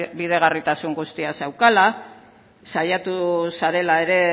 bidegarritasun guztia zeukala saiatu zarela ere